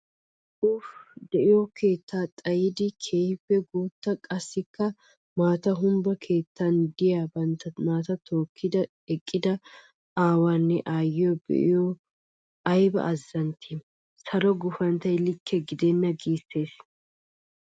Ufe! De'iyo keetta xayiddi keehippe guuta qassikka maata humppa keettan de'iya bantta naata tookkiddi eqidda awaanne aayiyo be'iyoode aybba azantti! Salo gufanttoy likke gidenna gissees.